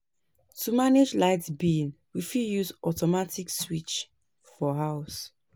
To manage light bill, we fit use automatic switch for house